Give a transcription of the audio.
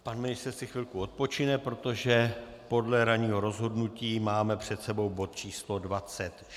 Pan ministr si chvilku odpočine, protože podle ranního rozhodnutí máme před sebou bod číslo